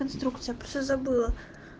инструкция просто забыла